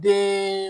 Den